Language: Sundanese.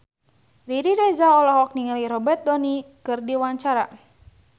Riri Reza olohok ningali Robert Downey keur diwawancara